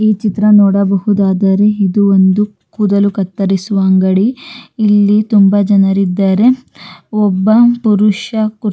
ಇಲ್ಲಿ ಡಬ್ಬಗಳು ಇಟ್ಟಿದ್ದಾರೆ ಒಬ್ಬ ಪುರುಷ ತಲೆ ಮೇಲೆ ಹ್ಯಾಟ್ ಅನ್ನು ಹಾಕಿಕೊಂಡಿದ್ದಾನೆ.